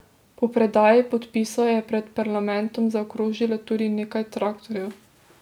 Po predaji podpisov je pred parlamentom zaokrožilo tudi nekaj traktorjev.